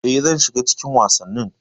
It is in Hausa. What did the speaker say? E, zan shiga cikin wasannin.